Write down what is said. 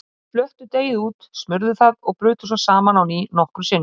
Þeir flöttu deigið út, smurðu það og brutu svo saman á ný nokkrum sinnum.